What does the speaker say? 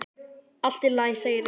Allt í lagi, segir Egill.